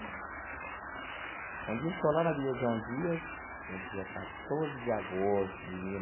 Um dia, estou lá na via João Dias, no dia quatorze de agosto de mil.